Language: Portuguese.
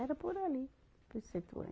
Era por ali, por situante